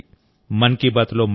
ఆరోగ్యంగా ఉండండి